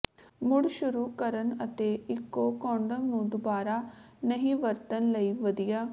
ਮੁੜ ਸ਼ੁਰੂ ਕਰਨ ਅਤੇ ਇਕੋ ਕੰਡੋਮ ਨੂੰ ਦੁਬਾਰਾ ਨਹੀਂ ਵਰਤਣ ਲਈ ਵਧੀਆ